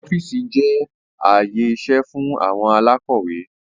Ọ́fíìsì jẹ́ ààyè iṣẹ́ fún àwọn alákọ́wẹ́